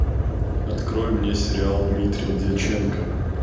открой мне сериал дмитрия дьяченко